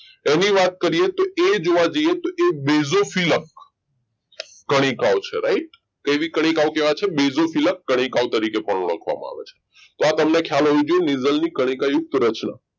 એની વાત કરીએ તો એ જોવા જઈએ તો એ દેસોફીલ્પ કણિકાઓ છે right કેવી કણિકાઓ કહેવાય છે ડેઝ ઓફ ફિલ્પ કણિકાઓ તરીકે પણ ઓળખવામાં આવે છે તો આ તમને ખ્યાલ હોવો જોઈએ નીઝલની કણિકા યુક્ત રચના